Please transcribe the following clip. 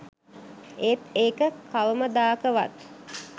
ඒත් ඒක කවමදාකවත්